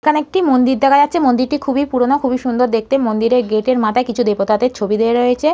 এখানে একটি মন্দির দেখা যাচ্ছে মন্দিরটি খুবই পুরনো খুবই সুন্দর দেখতে মন্দিরের গেট -এর মাথায় কিছু দেবতাদের ছবি দেওয়া রয়েছে।